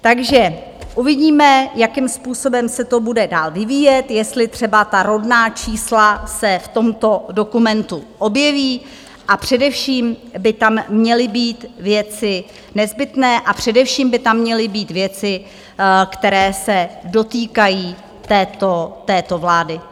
Takže uvidíme, jakým způsobem se to bude dál vyvíjet, jestli třeba ta rodná čísla se v tomto dokumentu objeví, a především by tam měly být věci nezbytné a především by tam měly být věci, které se dotýkají této vlády.